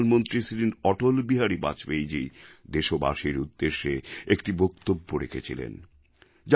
শ্রী অটলবিহারী বাজপেয়ীজী দেশবাসীর উদ্দেশ্যে একটি বক্তব্য রেখেছিলেন যা গোটা